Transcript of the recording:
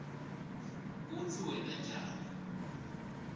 kutsi wenta njani